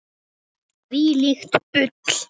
Þvílíkt bull.